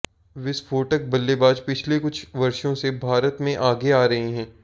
विस्फोटक बल्लेबाज पिछले कुछ वर्षों से भारत में आगे आ रहे हैं